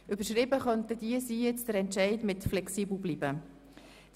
Der Entscheid könnte mit «flexibel bleiben» betitelt werden.